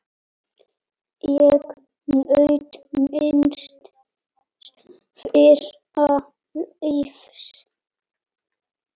Ég naut míns fyrra lífs.